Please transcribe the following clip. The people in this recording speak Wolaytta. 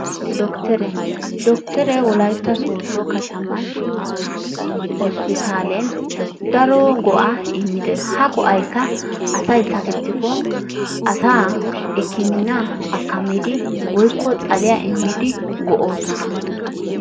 Dokkteree, Dokkteree wolaytta sooddo kattaman hosppitaaleen daro go'aa immi dee ha go'aykka asay sakkettikko asaa hikkimminaa akkamiidi woykko xaliya immidi go'oosona.